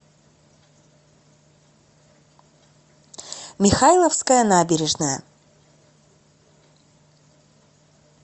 михайловская набережная